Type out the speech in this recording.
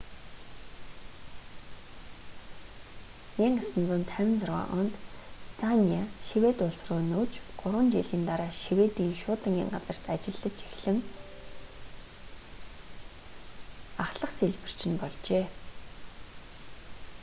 1956 онд станиа швед улс руу нүүж гурван жилийн дараа шведийн шуудангийн газарт ажиллаж эхлэн ахлах сийлбэрч нь болжээ